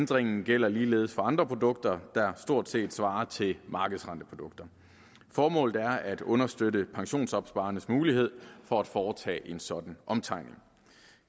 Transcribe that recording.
ændringen gælder ligeledes for andre produkter der stort set svarer til markedsrenteprodukter formålet er at understøtte pensionsopsparernes mulighed for at foretage en sådan omtegning